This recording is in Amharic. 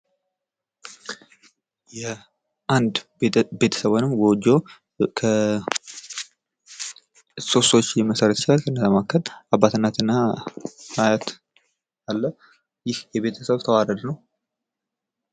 የአንድ ቤተሰብ ወይንም ጎጆ ሶስት ሰዎች መመስረት ይችላል። ከነዛም መካከል አባት እናት እና አያት አለ። ይህ የቤተሰብ ተዋረድ ነው።